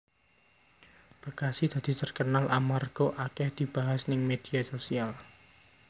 Bekasi dadi terkenal amarga akeh dibahas ning media sosial